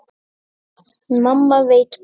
Mamma veit best.